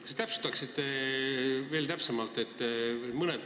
Kas te täpsustaksite veel täpsemalt?